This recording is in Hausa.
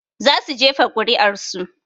Za su jefa kuri'ar su